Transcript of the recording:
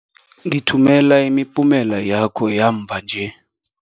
Ngithumela imiphumela yakho yamva nje.